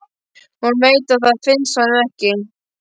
Hún veit að það finnst honum ekki.